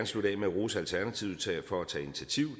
slutte af med at rose alternativet for at tage initiativ